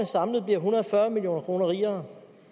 samlet en hundrede og fyrre million kroner rigere